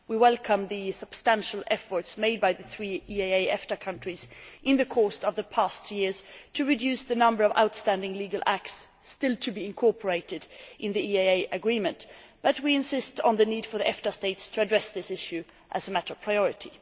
We welcome the substantial efforts made by the three EEA EFTA countries in the course of the past two years to reduce the number of outstanding legal acts still to be incorporated in the EEA Agreement, but we insist on the need for the EFTA states to address this issue as a matter of priority.